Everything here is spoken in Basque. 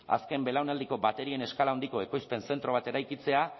azken belaunaldiko baterien eskala handiko ekoizpen zentro bat eraikitzea